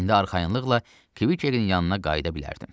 İndi arxayınlıqla Kvikin yanına qayıda bilərdim.